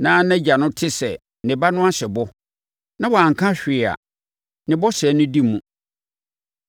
na nʼagya no te sɛ ne ba no ahyɛ bɔ, na wanka hwee a, ne bɔhyɛ no di mu.